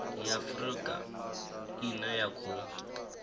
ya afurika ine ya khou